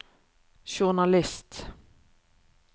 journalist